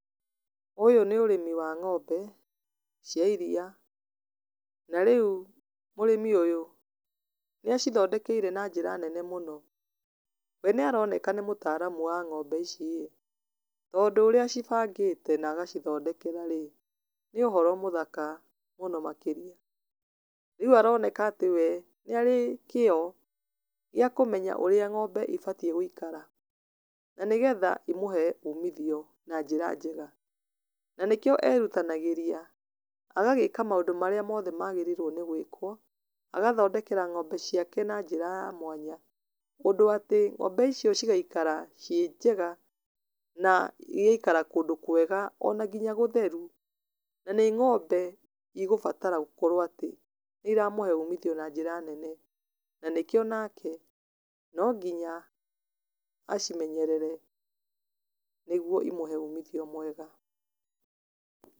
Ũyũ nĩ ũrĩmi wa ng'ombe cia iria, na rĩu mũrĩmi ũyũ nĩ acithondekeire na njĩra nene mũno, we nĩ aroneka nĩ mũtaramu wa ng'ombe iciĩ, tondũ ũrĩa acibangĩte na agacithondekera-rĩ, nĩ ũhoro mũthaka mũno makĩria, rĩu aroneka atĩ we nĩ arĩ kĩyo, gĩa kũmenya ũrĩa ng'ombe ĩbatie gũikara, na nĩgeha imũhe umithio na njĩra njega, na nĩkĩo erutanagĩria, agagĩka maũndũ marĩa magĩrĩirwo nĩ gwĩkwo, agathondekera ng'ombe ciake na njĩra ya mwanya, ũndũ atĩ ngombe icio cigaikara ci njega na igaikara kũndũ kwega ona nginya gũtheru, na nĩ ngombe igũbatara gũkorwo atĩ nĩ iramũhe umithio na njĩra nene, na nĩkĩo nake, no nginya acimenyerere, nĩguo imũhe umithio mwega.